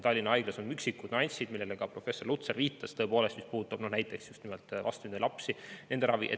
Tallinna Haigla puhul on üksikud nüansid, millele ka professor Lutsar viitas, mis puudutab näiteks just nimelt vastsündinud lapsi ja nende ravi.